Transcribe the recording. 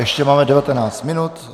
Ještě máme 19 minut.